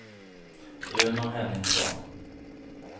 Uno Henningsson